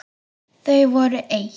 Þau voru eitt.